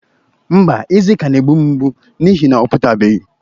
Mba, eze ka na-egbụ m ngbụ n'ihi na ọ pụtabeghi